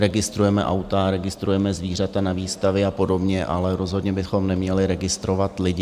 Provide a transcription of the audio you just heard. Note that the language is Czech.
Registrujeme auta, registrujeme zvířata na výstavě a podobně, ale rozhodně bychom neměli registrovat lidi.